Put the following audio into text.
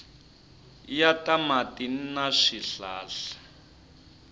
ya ta mati na swihlahla